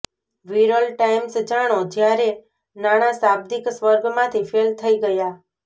Viral times જાણો જ્યારે નાણાં શાબ્દિક સ્વર્ગમાંથી ફેલ થઈ ગયા